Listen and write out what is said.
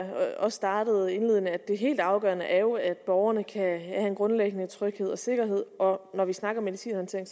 også startede indledende det helt afgørende er jo at borgerne kan have en grundlæggende tryghed og sikkerhed og når vi snakker medicinhåndtering